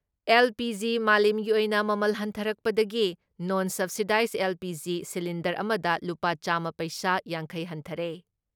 LPG. ꯃꯥꯂꯦꯝꯒꯤ ꯑꯣꯏꯅ ꯃꯃꯜ ꯍꯟꯊꯔꯛꯄꯗꯒꯤ ꯅꯣꯟ ꯁꯕꯁꯤꯗꯥꯏꯖ ꯑꯦꯜ.ꯄꯤ.ꯖꯤ. ꯁꯤꯂꯤꯟꯗꯔ ꯑꯃꯗ ꯂꯨꯄꯥ ꯆꯥꯝꯃ ꯄꯩꯁꯥ ꯵꯰ ꯍꯟꯊꯔꯦ ꯫